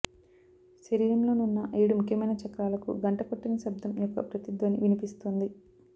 శరీరంలో నున్న ఏడు ముఖ్యమైన చక్రాలకు గంట కొట్టిన శబ్దం యొక్క ప్రతిధ్వని వినిపిస్తుంది